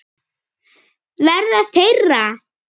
Verða þeirra.